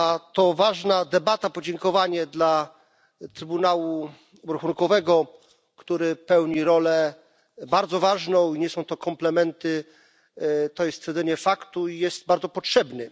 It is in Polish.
To ważna debata, podziękowanie dla Trybunału Obrachunkowego, który pełni rolę bardzo ważną i nie są to komplementy, tylko stwierdzenie faktu i jest bardzo potrzebny.